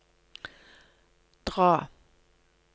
dra